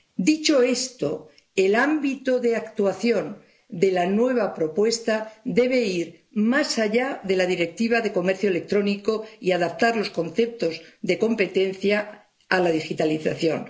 Dicho esto, el ámbito de actuación de la nueva propuesta debe ir más allá de la Directiva sobre el comercio electrónico y adaptar los conceptos de competencia a la digitalización.